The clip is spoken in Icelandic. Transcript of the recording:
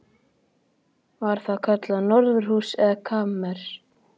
Var það kallað norðurhús eða kamers